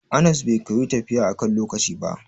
Anas bai koyi tafiya akan lokaci ba.